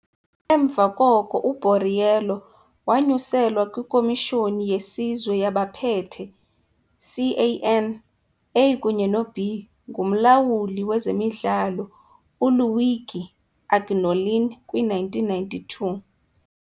Emva koko u-Borriello wanyuselwa kwiKhomishoni yeSizwe yabaPhethe, CAN, A kunye no-B ngumlawuli wezemidlalo uLuigi Agnolin kwi-1992.